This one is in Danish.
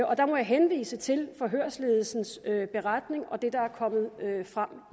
og der må jeg henvise til forhørsledelsens beretning og det der er kommet frem